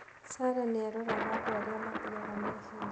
Sarah nĩ aroraga andũ arĩa mathiaga na ihenya.